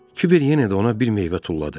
Kiber yenə də ona bir meyvə tulladı.